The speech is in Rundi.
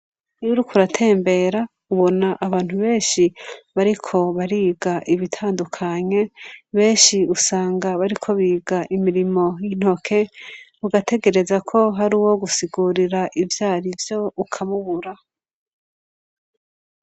Iyurik'uratembera ubona abantu benshi bariko bariga ibitandukanye, benshi usanga bariko biga imirimo y'intoke ugategereza ko hari uwo gusigurira ivyara vyo ukamubura.